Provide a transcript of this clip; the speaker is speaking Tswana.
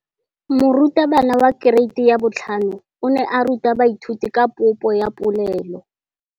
Moratabana wa kereiti ya 5 o ne a ruta baithuti ka popô ya polelô.